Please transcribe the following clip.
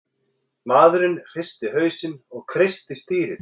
Maðurinn hristi hausinn og kreisti stýrið.